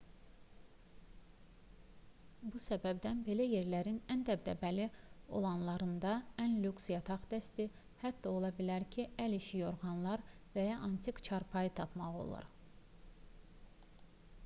bu səbəbdən belə yerlərin ən dəbdəbəli olanlarında ən lüks yataq dəsti hətta ola bilər ki əl işi yorğanlar və ya antik çarpayı tapmaq olar